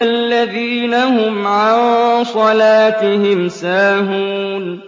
الَّذِينَ هُمْ عَن صَلَاتِهِمْ سَاهُونَ